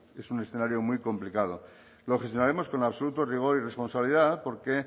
es un escenario muy complicado lo gestionaremos con absoluto rigor y responsabilidad porque